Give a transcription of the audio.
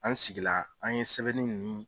An sigila, an ye sɛbɛnni nunnu.